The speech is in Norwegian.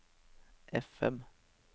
FM